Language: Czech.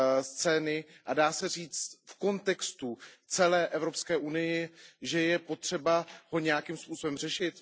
scény, a dá se říct v kontextu celé Evropské unie, že je potřeba ho nějakým způsobem řešit?